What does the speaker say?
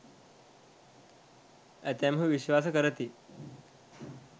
ඇතැම්හු විශ්වාස කරති.